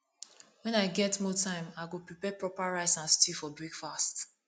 when i get more time i go prepare proper rice and stew for breakfast